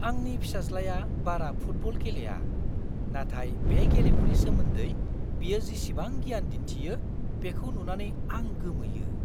आंनि फिसाज्लाया बारा फुटबल गेलेया, नाथाय बे गेलेमुनि सोमोन्दै बियो जिसिबां गियान दिन्थियो, बेखौ नुनानै आं गोमोयो!